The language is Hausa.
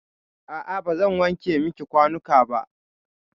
A'a bazan wanke miki kwanuka na.